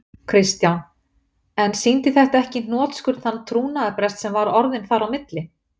Kristján: En sýndi þetta ekki í hnotskurn þann trúnaðarbrest sem var orðinn þar á milli?